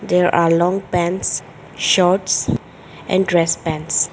There are long pants shorts and dress pants.